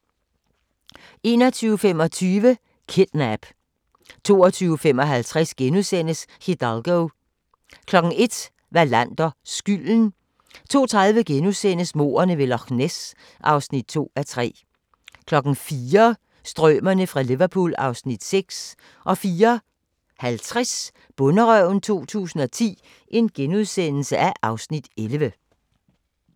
21:25: Kidnap 22:55: Hidalgo * 01:00: Wallander: Skylden 02:30: Mordene ved Loch Ness (2:3)* 04:00: Strømerne fra Liverpool (Afs. 6) 04:50: Bonderøven 2010 (Afs. 11)*